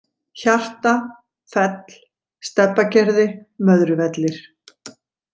Hjarta, Fell, Stebbagerði, Möðruvellir